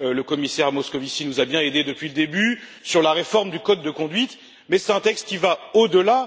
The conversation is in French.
le commissaire Moscovici nous a bien aidés depuis le début ou encore sur la réforme du code de conduite, mais c'est un texte qui va au delà.